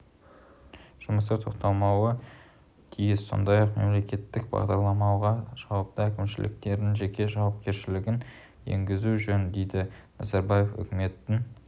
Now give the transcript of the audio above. жұмыстар тоқтатылмауы тиіс сондай-ақ мемлекеттік бағдарламаларға жауапты әкімшілердің жеке жауапкершілігін енгізген жөн дейді назарбаева үкіметтің